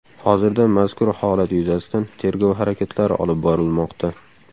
Hozirda mazkur holat yuzasidan tergov harakatlari olib borilmoqda.